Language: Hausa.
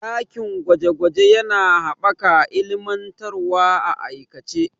Dakin gwaje gwaje yana haɓaka ilmantarwa a aikace.